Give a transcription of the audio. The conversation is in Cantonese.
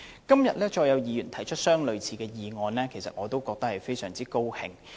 今天，再有議員提出類似議案，我感到十分高興。